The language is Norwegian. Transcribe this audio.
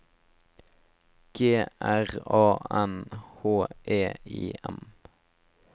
G R A N H E I M